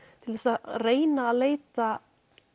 til þess að reyna að leita